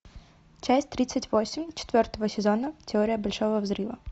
часть тридцать восемь четвертого сезона теория большого взрыва